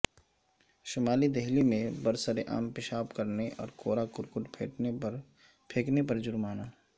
شمالی دہلی میں برسر عام پیشاب کرنے اور کوڑا کرکٹ پھینکنے پر جرمانے